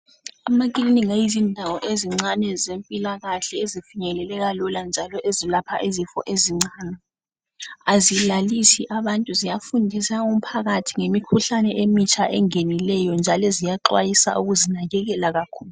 Amakilinika yizindawo ezincane zempila kahle ezifinyeleleka lula njalo ezilapha izifo ezincane. Azilalisi abantu ziyafundisa umphakathi ngemikhuhlane emitsha engenileyo njalo ziyaxwayisa ukuzinakekela kakhulu